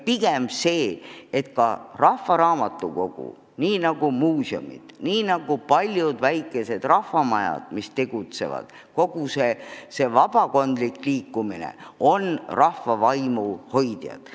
Pigem peaksid rahvaraamatukogud nii nagu muuseumid, nii nagu paljud väikesed rahvamajad, kogu see vabakondlik liikumine, olema rahva vaimu hoidjad.